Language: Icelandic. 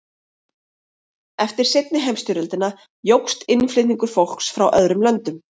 Eftir seinni heimsstyrjöldina jókst innflutningur fólks frá öðrum löndum.